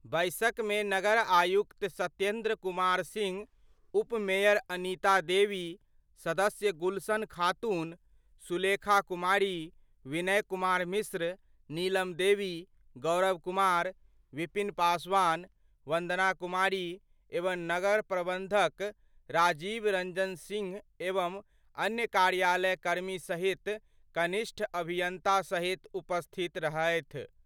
बैसक मे नगर आयुक्त सत्येन्द्र कुमार सिंह, उप मेयर अनिता देवी, सदस्य गुलशन खातून, सुलेखा कुमारी, विनय कुमार मिश्र, नीलम देवी, गौरव कुमार, विपिन पासवान, वंदना कुमारी एवं नगर प्रबंधक राजीव रंजन सिंह एवं अन्य कार्यालय कर्मी सहित कनिष्ठ अभियंता सहित उपस्थित रहथि।